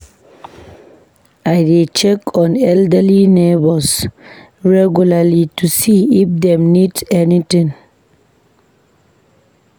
I dey check on elderly neighbors regularly to see if dem need anything.